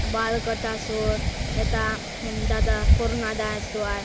बाल कटासोत ये दादा कोरोना दाय चो आय।